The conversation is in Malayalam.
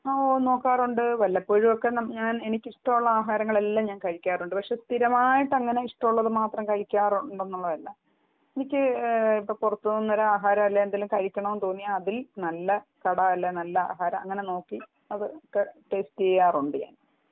ഹാ നോക്കാറുണ്ട് വല്ലപ്പോഴുമൊക്കെ എനിക്ക് ഇഷ്ടമുള്ള ആഹാരങ്ങളെല്ലാം ഞാൻ കഴിക്കാറുണ്ട് പക്ഷെ സ്ഥിരമായിട്ടെങ്ങനെ ഇഷ്ട്ടമുള്ളത് മാത്രം കഴിക്കാറുണ്ട് എന്നുള്ളത് അല്ല എനിക്ക് ഇപ്പൊ പുറത്ത് നിന്ന് ആഹാരം അല്ലെങ്കില്‍ എന്തെങ്കിലും കഴിക്കണം എന്ന് തോന്നിയാൽ അതിൽ നല്ല കട അല്ലെങ്കിൽ നല്ല ആഹാരം അങ്ങനെ നോക്കി അതൊക്കെ ഒക്കെ ടേസ്റ്റ് ചെയ്യാറുണ്ട് ഞാന്‍